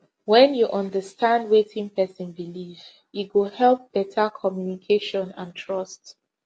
when you understand wetin person believe e go help better communication and trust